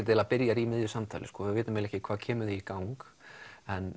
eiginlega byrjar í miðju samtali við vitum ekki hvað kemur því í gang en